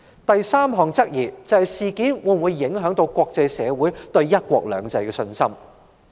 第三項質疑是，事件會否影響國際社會對"一國兩制"的信心。